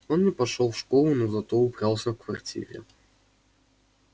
он не пошёл в школу но зато убрался в квартире